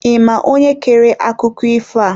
Ị ma onye kere akụkọ ifo a?